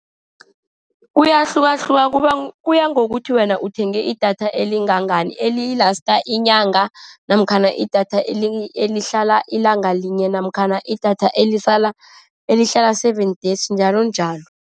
Kuyahlukahluka, kuya ngokuthi wena uthenge idatha elingangani, eli-last inyanga, namkha idatha elihlala ilanga linye, namkha idatha elihlala, elihlala seven days, njalonjalo.